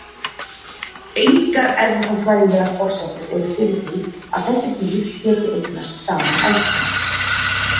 Engar erfðafræðilegar forsendur eru fyrir því að þessi dýr geti eignast saman afkvæmi.